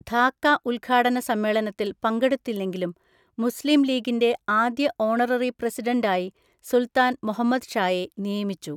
ധാക്ക ഉദ്ഘാടന സമ്മേളനത്തിൽ പങ്കെടുത്തില്ലെങ്കിലും മുസ്ലിം ലീഗിന്‍റെ ആദ്യ ഓണററി പ്രസിഡൻ്റായി സുൽത്താൻ മുഹമ്മദ് ഷായെ നിയമിച്ചു.